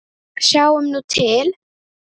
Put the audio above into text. Sjáum nú til?